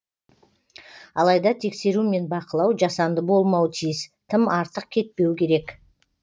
алайда тексеру мен бақылау жасанды болмауы тиіс тым артық кетпеу керек